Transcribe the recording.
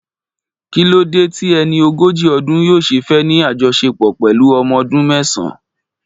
Kí ló dé tí ẹni ogójì ọdún yóò ṣe fẹ́ ní àjọṣepọ̀ pẹ̀lú ọmọ ọdún mẹ́sàn-án?